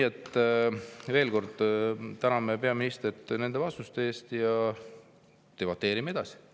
Aga veel kord täname peaministrit nende vastuste eest ja debateerime edasi.